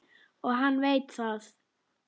Og hann veit það.